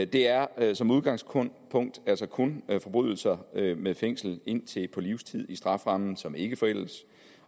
det er er som udgangspunkt altså kun forbrydelser med fængsel på indtil livstid i strafferammen som ikke forældes